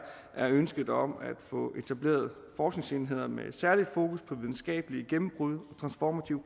er ønsket om at få etableret forskningsenheder med særligt fokus på videnskabelige gennembrud og transformativ